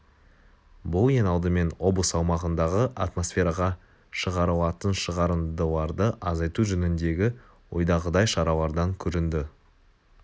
бұл ең алдымен облыс аумағындағы атмосфераға шығарылатын шығарындыларды азайту жөніндегі ойдағыдай шаралардан көрінді